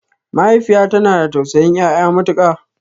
Mahaifiya tana da tausayin ƴaƴa matuƙa